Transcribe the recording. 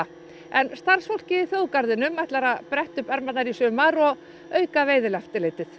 en starfsfólkið í þjóðgarðinum ætlar að bretta upp ermarnar í sumar og auka veiðieftirlitið